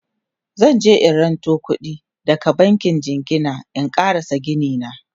zanje in ranto kuɗi daga bankin jingina in ƙarasa Gini na